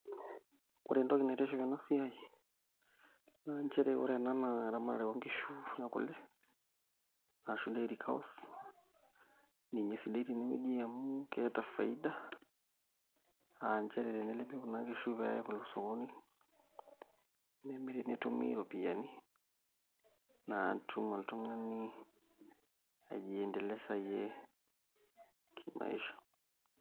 Ore entoki naitiship tena siai naa nchere ore ena naa eramatare oonkishu ekule arashu dairy cows ninye sidai tenewueji amu keeta faida aa nchere tenelepi kuna kishu pee iya kule osokoni nemiri netumi iropiyiani naa itum oltung'ani aijiendelesayie kimaisha.